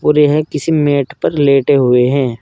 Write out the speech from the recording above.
और यह किसी मैट पर लेटे हुए हैं।